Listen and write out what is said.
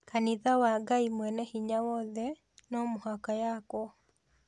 Kanitha wa Ngai Mwene Hinya Wothe no mũhaka yaakwo